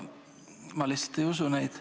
Ma lihtsalt ei usu neid.